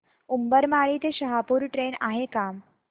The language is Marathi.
उंबरमाळी ते शहापूर ट्रेन आहे का